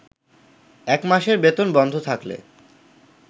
এক মাসের বেতন বন্ধ থাকলে